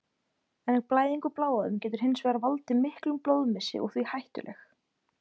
En blæðing úr bláæðum getur hins vegar valdið miklum blóðmissi og því hættuleg.